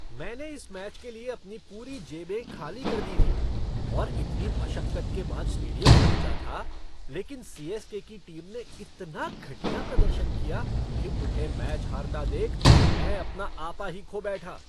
मैंने इस मैच के लिए अपनी पूरी जेबें खाली कर दी थीं और इतनी मशक्कत के बाद स्टेडियम पहुंचा था, लेकिन सी.एस.के. की टीम ने इतना घटिया प्रदर्शन किया कि उन्हें मैच हारता देख मैं अपना आपा ही खो बैठा।